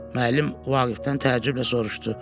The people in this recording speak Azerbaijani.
Müəllim Vaqifdən təəccüblə soruşdu.